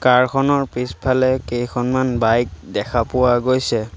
কাৰ খনৰ পিছফালে কেইখনমান বাইক দেখা পোৱা গৈছে।